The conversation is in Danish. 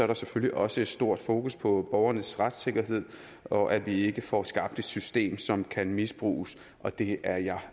der selvfølgelig også et stort fokus på borgernes retssikkerhed og at vi ikke får skabt et system som kan misbruges og det er jeg